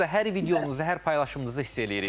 Bunu da hər videonuzda, hər paylaşımınızda hiss eləyirik.